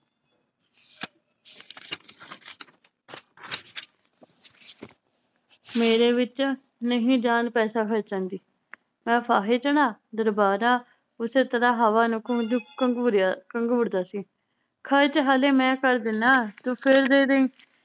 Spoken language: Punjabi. ਮੇਰੇ ਵਿਚ ਨਹੀ ਜਾਨ ਪੈਸਾ ਖਰਚਣ ਦੀ ਮੈ ਫਾਹੇ ਚੜ੍ਹਾਂ ਦਰਬਾਰਾ ਉਸੇ ਤਰਾਹ ਹਵਾ ਨੂੰ ਘਮਜੂ ਘੰਗੂਰੇਯਾ ਘੰਗੁਰਦਾ ਸੀ। ਖਰਚ ਹੱਲੇ ਮੈ ਕਰ ਦੇਨਾ ਤੂੰ ਫੇਰ ਦੇ ਦੇਈਂ